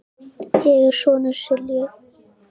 Ég er sonur Sylgju